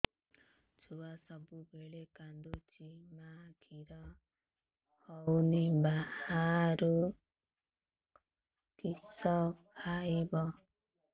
ଛୁଆ ସବୁବେଳେ କାନ୍ଦୁଚି ମା ଖିର ହଉନି ବାହାରୁ କିଷ ଖାଇବ